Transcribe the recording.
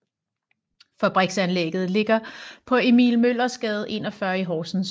Fabriksanlægget ligger på Emil Møllers Gade 41 i Horsens